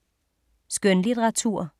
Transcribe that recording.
Skønlitteratur